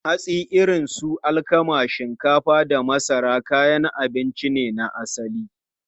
Hatsi irin su alkama, shinkafa, da masara kayan abinci ne na asali.